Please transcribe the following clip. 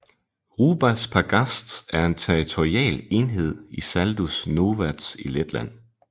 Rubas pagasts er en territorial enhed i Saldus novads i Letland